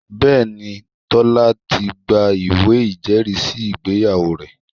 Bẹ́ẹ̀ni, Tọ́lá ti gba ìwé ìjẹ́rìísí ìgbéyàwó rẹ̀